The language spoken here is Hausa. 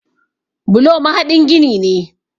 Bulo mahaɗin gini ne.